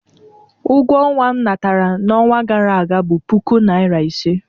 Ụgwọ ọnwa m natara n'ọnwa gara aga bụ puku naira ise.